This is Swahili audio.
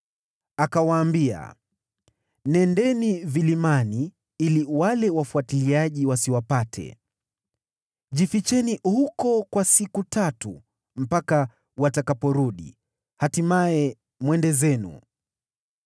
Alikuwa amewaambia, “Nendeni vilimani ili wale wafuatiliaji wasiwapate. Jificheni huko kwa siku tatu mpaka watakaporudi, hatimaye mwende zenu.”